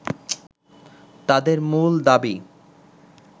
তাদের মূল দাবি